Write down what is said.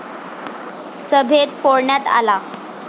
सभेत फोडण्यात आला.